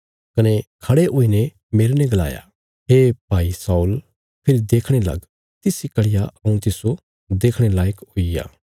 कने खड़े हुईने मेरने गलाया हे भाई शाऊल फेरी देखणे लग तिस इ घड़िया हऊँ तिस्सो देखणे लायक हुईग्या